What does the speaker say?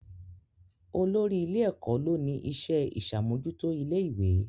Olórí ilé-ẹ̀kọ́ ló ni iṣẹ́ ìṣàmójútó ilé ìwé